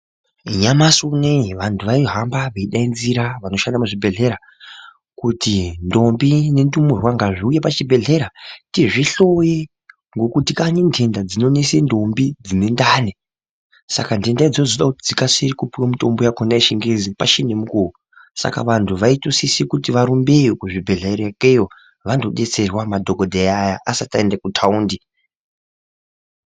Nyamashi unowu vanhu vaihamba veidaidzira vanoshanda muzvibhedhlera kuti ntombi nendumurwa ngazviuye pachibhedhlera tizvihloye ngekuti kane ntenta dzinonesa ntombi dzine ndani. Saka ntenta dzoda kuti dzikasire kupuwa mushonga yakhona yechingezi pachiri nemukuwo saka vantu vaitosise kuti varumbeyo kuzvibhedhlera ikeyo vandodetserwa madhokodheya aya asati aenda kuthaundi.